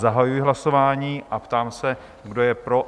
Zahajuji hlasování a ptám se, kdo je pro?